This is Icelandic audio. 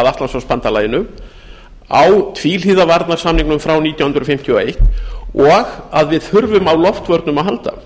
að atlantshafsbandalaginu á tvíhliða varnarsamningnum frá nítján hundruð fimmtíu og eins og að við þurfum á loftvörnum að halda